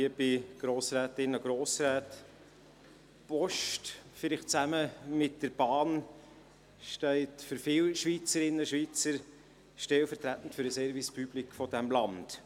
Die Post, vielleicht zusammen mit der Bahn, steht für viele Schweizerinnen und Schweizer stellvertretend für den Service public dieses Landes.